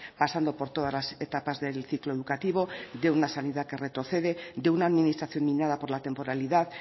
pasando por todas las etapas del ciclo educativo de una sanidad que retrocede de una administración minada por la temporalidad